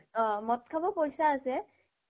মদ খাব পইচা আছে